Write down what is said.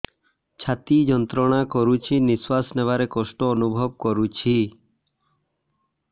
ଛାତି ଯନ୍ତ୍ରଣା କରୁଛି ନିଶ୍ୱାସ ନେବାରେ କଷ୍ଟ ଅନୁଭବ କରୁଛି